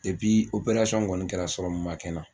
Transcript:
kɔni kɛra ma kɛ n na